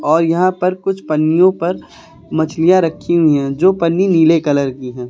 और यहां पर कुछ पन्नियों पर मछलियां रखी हुई हैं जो पन्नी नीले कलर की है।